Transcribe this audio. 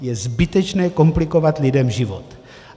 Je zbytečné komplikovat lidem život.